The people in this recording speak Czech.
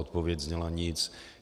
Odpověď zněla nic.